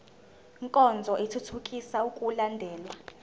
nkonzo ithuthukisa ukulandelwa